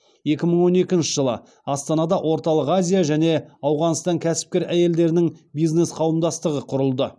екі мың он екінші жылы астанада орталық азия және ауғанстан кәсіпкер әйелдерінің бизнес қауымдастығы құрылды